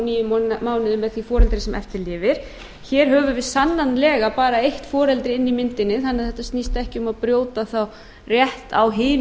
þá níu mánuði með því foreldri sem eftir lifir hér höfum við sannanlega bara eitt foreldri inni í myndinni þannig að þetta snýst ekki um að brjóta þá rétt á